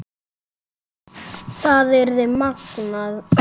Það yrði magnað.